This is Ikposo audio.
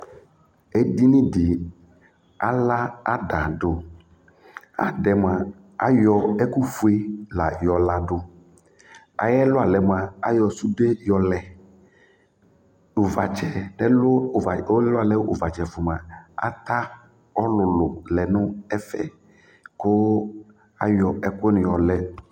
Edini di ala ada du, ad'ɛmua ayɔ ɛku fue la yɔ ladu, ay'ɛlu alɛ mua ayɔ sude yɔ lɛ uvatsɛ ɛlu uva ɛlualɛ uvatsɛ ata ɔlulu lɛ nu ɛfɛ ku ayɔ ɛku ni yɔ lɛ